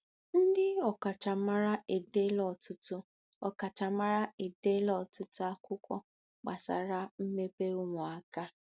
Ndị ọkachamara edeela ọtụtụ ọkachamara edeela ọtụtụ akwụkwọ gbasara mmepe ụmụaka.